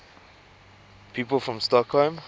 people from stockholm